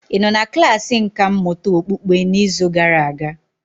Ị nọ na klasị nkà mmụta okpukpe n'izu gara aga?